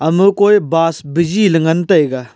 ama koi bus bijii ley ngan tai ga.